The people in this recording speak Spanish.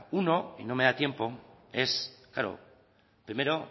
uno y no me da tiempo es primero